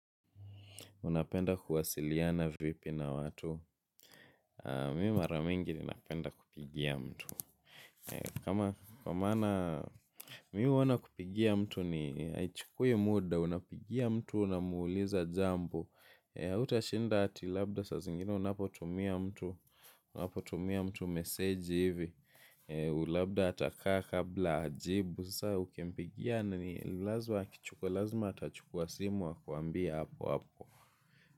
Unapenda kuwasiliana vipi na watu. Mi mara mingi ni napenda kupigia mtu. Kama kwa mana mi huona kupigia mtu ni haichukui muda. Unapigia mtu unamuuliza jambo. Hautashinda ati labda saa zingine unapotumia mtu meseji hivi labda atakaa kabla ajibu saa ukimpigia ni lazima atachukua simu akuambie hapo hapo.